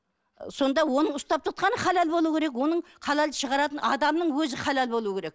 сонда оның ұстап тұтқаны халал болу керек оның халалды шығаратын адамның өзі халал болуы керек